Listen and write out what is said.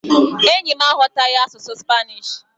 Enyi m aghọtaghị asụsụ spanishi..